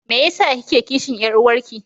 Me yasa kike kishin Yar'uwanki?